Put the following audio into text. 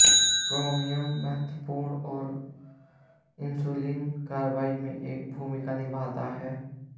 chromium महत्वपूर्ण है और इंसुलिन कार्रवाई में एक भूमिका निभाता है